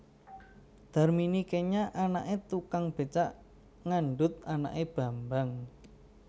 Darmini kenya anaké tukang bécak ngandhut anaké Bambang